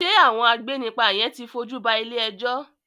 Ṣé àwọn agbénipa yen ti fojú ba ilé-ẹjọ́?